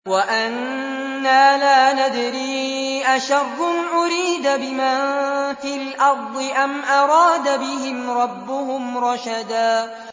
وَأَنَّا لَا نَدْرِي أَشَرٌّ أُرِيدَ بِمَن فِي الْأَرْضِ أَمْ أَرَادَ بِهِمْ رَبُّهُمْ رَشَدًا